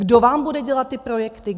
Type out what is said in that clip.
Kdo vám bude dělat ty projekty?